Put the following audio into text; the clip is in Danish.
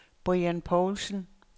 Brian Poulsen